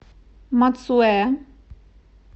мацуэ